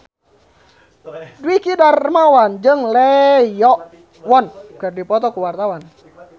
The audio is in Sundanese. Dwiki Darmawan jeung Lee Yo Won keur dipoto ku wartawan